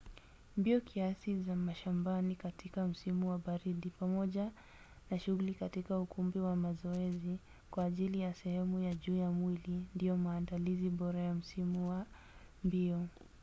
mbio kiasi za mashambani katika msimu wa baridi pamoja na shughuli katika ukumbi wa mazoezi kwa ajili ya sehemu ya juu ya mwili ndiyo maandalizi bora ya msimu wa mbio